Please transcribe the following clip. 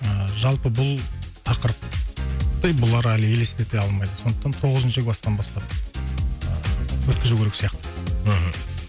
ыыы жалпы бұл тақырыпты бұлар әлі елестете алмайды сондықтан тоғызыншы кластан бастап ыыы өткізу керек сияқты мхм